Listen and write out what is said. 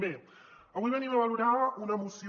bé avui venim a valorar una moció